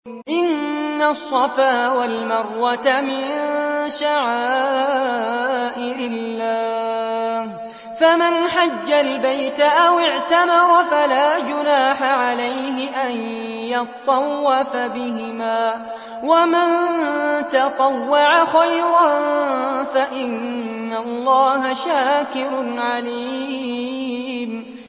۞ إِنَّ الصَّفَا وَالْمَرْوَةَ مِن شَعَائِرِ اللَّهِ ۖ فَمَنْ حَجَّ الْبَيْتَ أَوِ اعْتَمَرَ فَلَا جُنَاحَ عَلَيْهِ أَن يَطَّوَّفَ بِهِمَا ۚ وَمَن تَطَوَّعَ خَيْرًا فَإِنَّ اللَّهَ شَاكِرٌ عَلِيمٌ